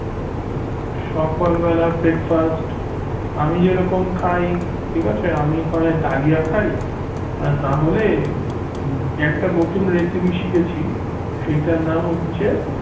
সকালবেলা breakfast আমি যেরকম খাই ঠিক আছে আমি হয় ডালিয়া খাই আর নাহলে একটা নতুন recipe শিখেছি সেইটার নাম হচ্ছে